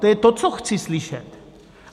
To je to, co chci slyšet.